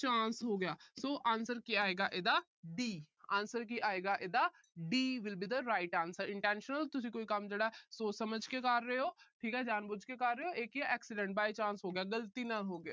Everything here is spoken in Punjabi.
by chance ਹੋ ਗਿਆ। so answer ਕੀ ਆਏਗਾ ਇਹਦਾ D answer ਕੀ ਆਏਗਾ ਇਹਦਾ D will be the right answer intentional ਤੁਸੀਂ ਕੋਈ ਕੰਮ ਜਿਹੜਾ ਸੋਚ ਸਮਝ ਕੇ ਕਰ ਰਹੇ ਓ। ਠੀਕ ਏ। ਜਾਣ ਬੁੱਝ ਕੇ ਕਰ ਰਹੇ ਓ। ਇਹ ਕੀ ਏ accidental by chance ਹੋ ਗਿਆ। ਗਲਤੀ ਨਾਲ ਹੋ ਗਿਆ।